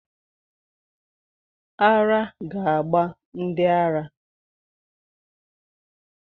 Ara ga-gba ndị ara.